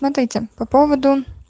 смотрите по поводу